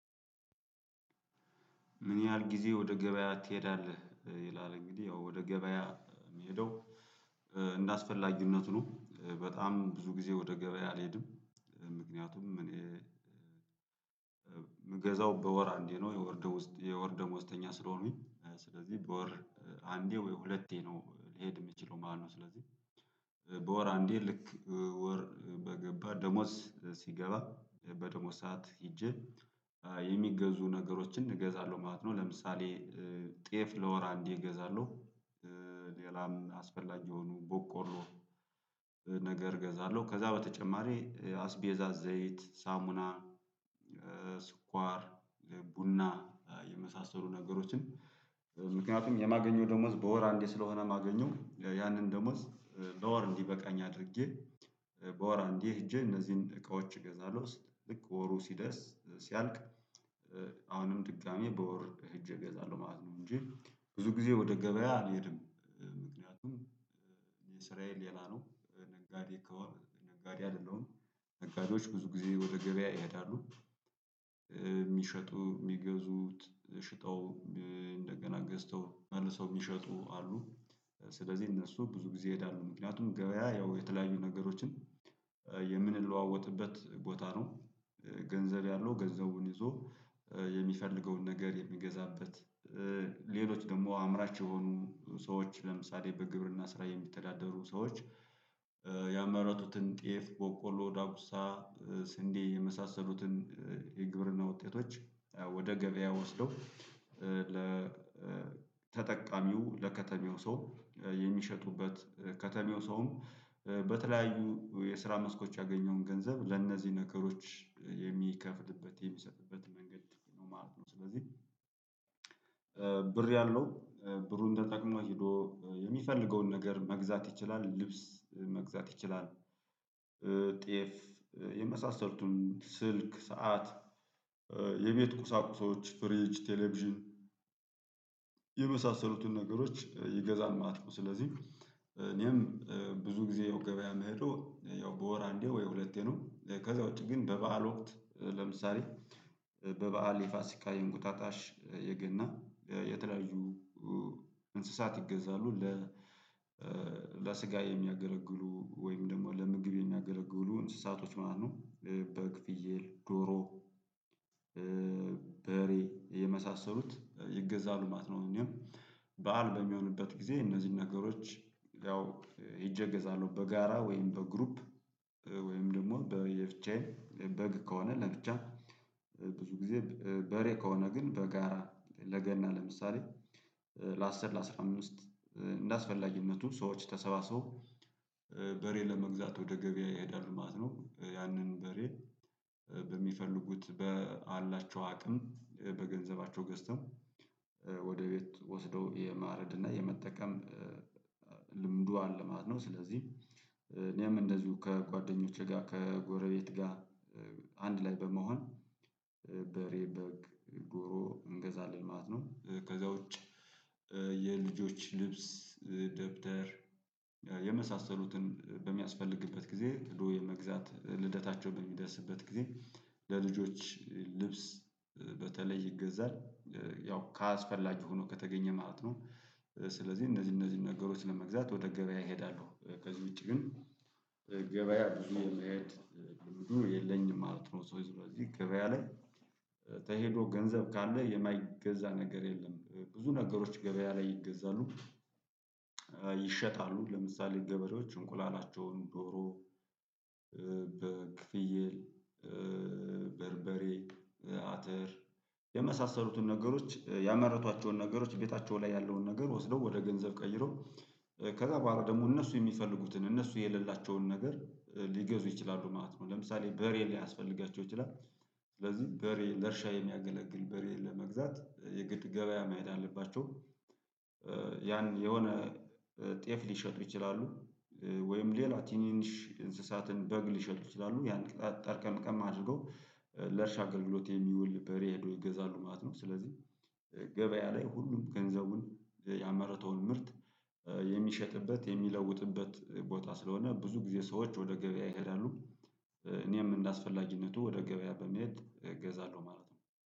ምን ያህል ጊዜ ወደ ገበያ ትሄዳለህ? ይላል እንግዲህ ያው ወደ ገበያ የምሄደው እንደአስፈላጊነቱ ነው። በጣም ብዙ ጊዜ ወደ ገበያ አልሄድም ምክንያቱም እኔ ምገዛው በወር አንዴ ነው። የወርደም ውስጥ የወርደምዝተኛ ስለሆኑኝ ስለዚህ በወር አንዴ ወይ ሁለቴ ነው ሊሄድ የሚችለው ማለት ነው። ስለዚህ በወር አንዴ ልክ ወር በገባ ደሞዝ ሲገባ በደሞዝ ሰዓት ሄጄ የሚገዙ ነገሮችን እገዛለሁ ማለት ነው። ለምሳሌ ጤፍ ለወር አንዴ እገዛለሁ ሌላም አስፈላጊ የሆኑ ቦቆሮ ነገር እገዛለሁ ከዛ በተጨማሪ አስቤዛዝ፣ ዘይት፣ ሳሙና: ስኳር ቡና የመሳሰሉ ነገሮችን እምክንያቱ የማገኘው ደሞዝ በወር አንዴ ስለሆነ ማገኘው ያንን ደሞዝ ለወር እንዲበቃኝ አድርጌ በወር አንዴ ሄጄ እነዚህን እቃዎች እገዛለሁ ልክ ወሩ ሲደርስ ሲያልቅ አሁንም ድጋሚ በወር እጅ እገዛለሁ ማለት ነው። እንጂ ብዙ ጊዜ ወደ ገበያ አልሄድም። ምክንያቱም የእስራኤል ሌላ ነው። ነጋዴ ነጋዴ አይደለሁም ነጋዴዎች ብዙ ጊዜ ወደ ገበያ ይሄዳሉ የሚሸጡ፣ የሚገዙት፣ ሽጠው እንደገና ገዝተው፣ መልሰው የሚሸጡ አሉ ስለዚህ እነሱ ብዙ ጊዜ ይሄዳሉ። ምክንያቱም ገበያ ያው የተለያዩ ነገሮችን የምንለዋወጥበት ቦታ ነው። ገንዘር ያለው ገንዘቡን ይዞ፣ የሚፈልገውን ነገር የሚገዛበት ሌሎች ደግሞ አምራች የሆኑ ሰዎች ለምሳሌ በግብርና ስራ የሚተዳደሩ ሰዎች ያመራጡትን፣ ጤፍ፣ ቦቆሎ፣ ዳጉሳ፣ ስንዴ የመሳሰሉትን የግብርና ውጤቶች ወደ ገበያ ወስደው ለተጠቃሚው ለከተሜው ሰው የሚሸጡበት ከተሜው ሰውም በተለያዩ የስራ መስኮች ያገኘውን ገንዘብ ለእነዚህ ነገሮች የሚከፍልበት የሚሰጥበት መንገድ ነው ማለት ነው። ስለዚህ ብር ያለው፣ ብሩን ተጠቅሞ ሄዶ የሚፈልገውን ነገር መግዛት ይችላል፣ ልብስ መግዛት ይችላል፣ ጤፍ፣ የመሳሰልቱን ስልክ፣ ሰዓት፣ የቤት ቁሳቁሶች ፍጅ፣ ቴሌቪዥን የመሳሰሉትን ነገሮች ይገዛል ማለት ነው። ስለዚህ እኔም ብዙ ጊዜ ያው ገበያ መሄዶ ያው በወር አንዴ ወይ ሁለቴ ነው። ከዛ ውጪ ግን በበዓል ወቅት ለምሳሌ፣ በበዓል የፋሲካ፣ የንጉጣጣሽ፣ የገና፣ የተለያዩ እንስሳት ይገዛሉ። ለ ለስጋ የሚያገረግሉ ወይም ደግሞ ለምግብ የሚያገረግሉ እንስሳቶች ማለት ነው። በግ፣ ፍየል፣ ዶሮ በሬ የመሳሰሉት ይገዛሉ ማት ነው። እኔም በዓል በሚሆንበት ጊዜ እነዚህን ነገሮች ያው ይጀገዛሉ በጋራ ወይም በግሩፕ ወይም ደግሞ በየብቻየ በግ ከሆነ ነብቻ ብዙ ጊዜ በሬ ከሆነ ግን በጋራ ለገና ለምሳሌ ለአስር፣ ለአስራ አምስት፣ እንዳስፈላጊነቱ ሰዎች ተሰባሰቡ በሬ ለመግዛት ወደ ገበያ ይሄዳሉ ማለት ነው። ያንን በሬ በሚፈልጉት ባላቸው አቅም በገንዘባቸው ገዝተው፣ ወደ ቤት ወስደው የማረድ፣ እና የመጠቀም ልምዱ አለ ማለት ነው። ስለዚህ እኔም እንደዚሁ ከጓደኞቼ ጋር ከጎረቤት ጋር አንድ ላይ በመሆን በሬ፣ በግ፣ ጎሮ እንገዛለን ማለት ነው። ከዛ ውጪ የልጆች ልብስ፣ ደብተር የመሳሰሉትን በሚያስፈልግበት ጊዜ ሂዶ የመግዛት ልደታቸውን በሚደርስበት ጊዜ ለልጆች ልብስ በተለይ ይገዛል ያው ከአስፈላጅ ሆኖ ከተገኘ ማለት ነው። ስለዚህ እነዚህ እነዚህን ነገሮች ለመግዛት ወተገበያ ይሄዳሉ ከዚህ ውጪ ግን ገበያ የሚሄድ ግብዱ የለኝም ማለት ነው። ሰው የለኝም ገበያ ላይ ተሄዶ ገንዘብ ካለ! የማይገዛ ነገር የለም ብዙ ነገሮች ገበያ ላይ ይገዛሉ ይሸጣሉ ለምሳሌ ገበሬዎ፣ እንቁላላቸውን፣ ዶሮ በክፍየል በርበ፣ አትር፣ የመሳሰሉትን ነገሮች ያመረቷቸውን ነገሮች ቤታቸው ላይ ያለውን ነገር ወስደው ወደ ገንዘብ ቀይረው ከዛ በኋላ ደግሞ፣ እነሱ የሚፈልጉትን እነሱ የሌላቸውን ነገር ሊገዙ ይችላሉ ማለት ነው። ለምሳሌ በሬ፣ ሊያስፈልጋቸው ይችላል ስለዚህ በሬ ለእርሻ የሚያገለግል በሬ ለመግዛት የግድ ገበያ መሄድ አለባቸው ያን የሆነ ጤፍ፣ ሊሸጥ ይችላሉ ወይም ሌላ ቲኒንሽ እንስሳትን፣ በግ፣ ሊሸጡ ይችላሉ ያን ጠርቀም ጠርቀም አድርገው ለእርሻ አገልግሎት የሚውል በሬ ሄዶ ይገዛሉ ማለት ነው። ስለዚህ ገበያ ላይ ሁሉም ገንዘቡን ያመረተውን ምርት የሚሸጥበት የሚለውጥበት ቦታ ስለሆነ ብዙ ጊዜ ሰዎች ወደ ገበያ ይሄዳሉ። እኔም እንደ አስፈላጊነቱ ወደ ገበያ በመሄድ እገዛለሁ ማለት ነው።